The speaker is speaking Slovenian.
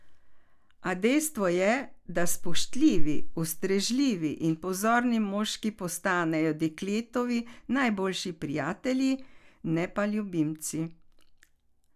A dejstvo je, da spoštljivi, ustrežljivi in pozorni moški postanejo dekletovi najboljši prijatelji, ne pa ljubimci.